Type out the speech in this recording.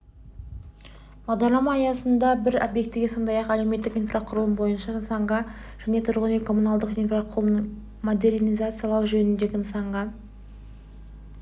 бағдарлама аясында біз обьектіге сондай-ақ әлеуметтік инфрақұрылым бойынша нысанға және тұрғын үй-коммуналдық инфрақұрылымын модернизациялау жөнінде нысанға